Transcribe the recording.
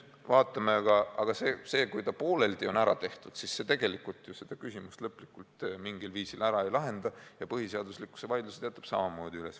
Aga see, et seadus on pooleldi korda tehtud, tegelikult seda küsimust ju lõplikult mingil viisil ära ei lahenda ja vaidlus põhiseaduslikkuse üle jääb endiselt üles.